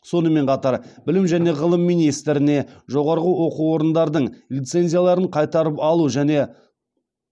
сонымен қатар білім және ғылым министріне жоғары оқу орындардың лицензияларын қайтарып алу және